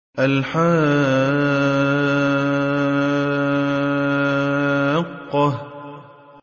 الْحَاقَّةُ